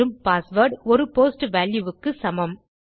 password ஒரு post value க்கு சமம்